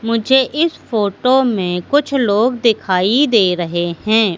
मुझे इस फोटो में कुछ लोग दिखाई दे रहे हैं।